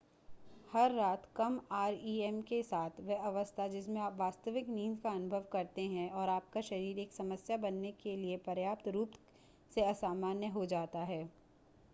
हर रात कम आरईएम के साथ वह अवस्था जिसमें आप वास्तविक नींद का अनुभव करते हैं और आपका शरीर एक समस्या बनने के लिए पर्याप्त रूप से असामान्य हो जाता है